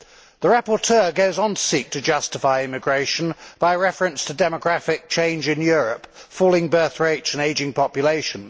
The rapporteur goes on to seek to justify immigration by reference to demographic change in Europe, falling birth rates and ageing population.